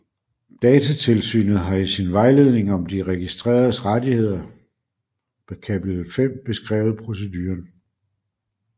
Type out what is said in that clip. Datatilsynet har i sin Vejledning om De Registreredes Rettigheders kapitel 5 beskrevet proceduren